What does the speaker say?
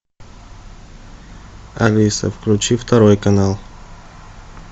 алиса включи второй канал